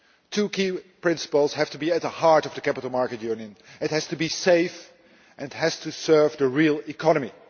Two key principles have to be at the heart of the capital markets union it has to be safe, and it has to serve the real economy.